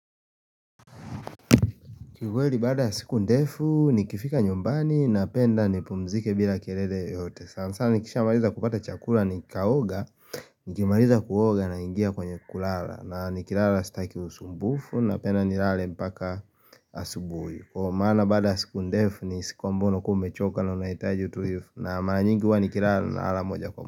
Kikweli baada ya siku ndefu nikifika nyumbani napenda nipumzike bila kelele yoyote. Sana sana nikisha maliza kupata chakula ni kaoga, nikimaliza kuoga naingia kwenye kulala. Na nikilala sitaki usumbufu napenda nilale mpaka asubuhi. Kwa maana baada siku ndefu ni siku ambayo kumbe choka na unaitaji utuifu na maranyinguwa nikilara na ala moja kwa mbuka.